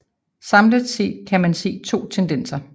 Samlet set kan man se to tendenser